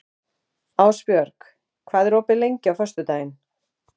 Ásbjörg, hvað er opið lengi á föstudaginn?